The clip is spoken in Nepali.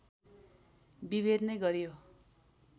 विभेद नै गरियो